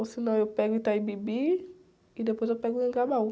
Ou se não, eu pego Itaim Bibi e depois eu pego Anhangabaú.